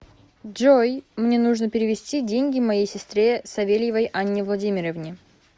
джой мне нужно перевести деньги моей сестре савельевой анне владимировне